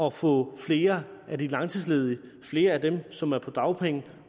at få flere af de langtidsledige flere af dem som er på dagpenge